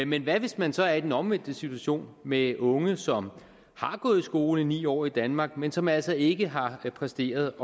men hvad hvis man så er i den omvendte situation med unge som har gået i skole ni år i danmark men som altså ikke har præsteret